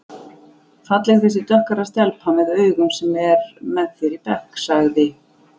Falleg þessi dökkhærða stelpa með augun sem er með þér í bekk sagði